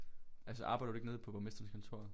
Altså arbejder du ikke nede på borgmesterens kontor?